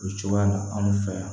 O cogoya la anw fɛ yan